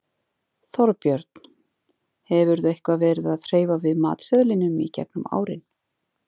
Þorbjörn: Hefurðu eitthvað verið að hreyfa við matseðlinum í gegnum árin?